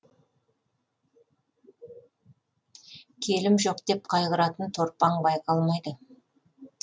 келім жоқ деп қайғыратын торпаң байқалмайды